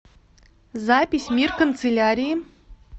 запись мир канцелярии